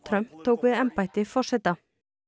tók við embætti forseta